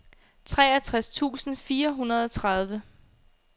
treogtres tusind fire hundrede og tredive